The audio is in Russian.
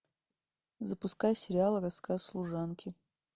запускай сериал рассказ служанки